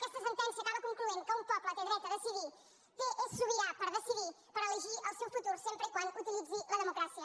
aquesta sentència acaba concloent que un poble té dret a decidir és sobirà per decidir per elegir el seu futur sempre que utilitzi la democràcia